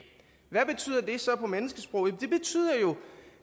hvad betyder det så på menneskesprog det betyder jo